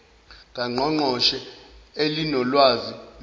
kangqongqoshe elinolwazi lobuciko